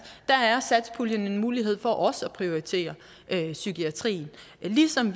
er satspuljen en mulighed for også at prioritere psykiatrien ligesom